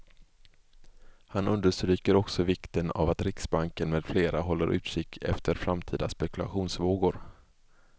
Han understryker också vikten av att riksbanken med flera håller utkik efter framtida spekulationsvågor.